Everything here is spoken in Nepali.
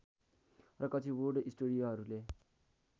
र कक्षिवुड स्टुडियोहरूले